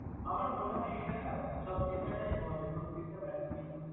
আমার মনে হয় এটা না সব teacher রাই বলে, প্রত্যেকটা batch কেই বলে।